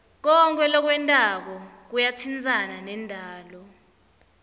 konkhe lokwentako kuyatsintsana nendalo